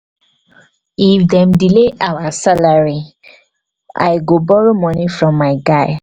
if dem delay our salary delay our salary i go borrow moni from my guy.